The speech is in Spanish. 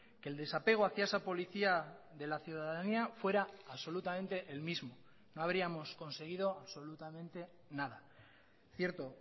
que el desapego hacia esa policía de la ciudadanía fuera absolutamente el mismo no habríamos conseguido absolutamente nada cierto